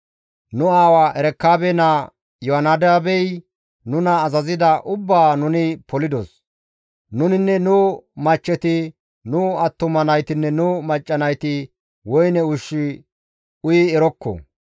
Nu aawa Erekaabe naa Iyoonadaabey nuna azazida ubbaa nuni polidos; Nuninne nu machcheti, nu attuma naytinne nu macca nayti woyne ushshu uyi erokko.